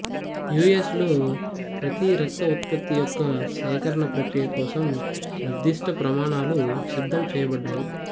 you S లో ప్రతి రక్త ఉత్పత్తి యొక్క సేకరణ ప్రక్రియ కోసం నిర్దిష్ట ప్రమాణాలు సిద్ధం చేయబడ్డాయి